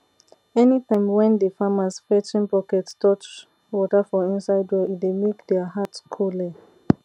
anytime wen de farmers fetching bucket touch water for inside well e dey make deir heart coole